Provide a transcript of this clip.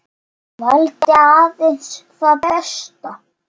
Valdi aðeins það besta.